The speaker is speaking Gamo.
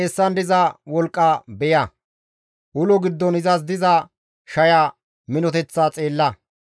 Izas xeessan diza wolqqa beya; izas ulo giddon diza shaya minoteththa xeella.